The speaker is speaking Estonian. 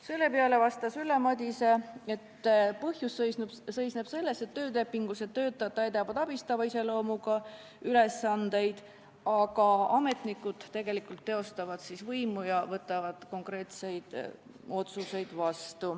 Selle peale vastas Ülle Madise, et põhjus seisneb selles, et töölepingulised töötajad täidavad abistava iseloomuga ülesandeid, aga ametnikud teostavad võimu ja võtavad vastu konkreetseid otsuseid.